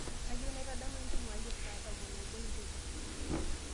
kaayieu naitadamuni entumo ai ee saa tomon oobo enteipa